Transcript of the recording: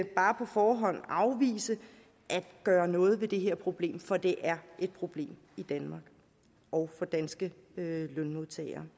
bare på forhånd afvise at gøre noget ved det her problem for det er et problem i danmark og for danske lønmodtagere